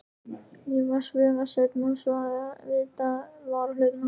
Ég var ekki svifaseinn að vitja varahlutanna.